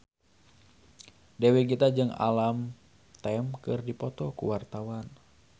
Dewi Gita jeung Alam Tam keur dipoto ku wartawan